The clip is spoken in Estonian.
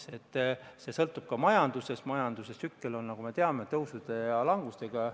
Nii et palju sõltub ka majandusest ja majanduse tsüklid on, nagu me teame, tõusude ja langustega.